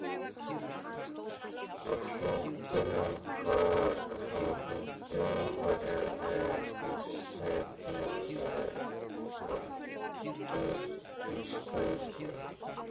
Á flóttanum höfðu Þjóðverjarnir ekki setið með hendur í skauti.